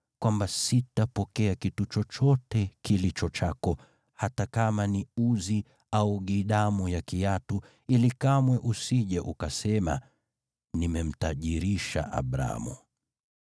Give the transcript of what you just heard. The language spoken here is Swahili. kwamba sitapokea kitu chochote kilicho chako, hata kama ni uzi au gidamu ya kiatu, ili kamwe usije ukasema, ‘Nimemtajirisha Abramu.’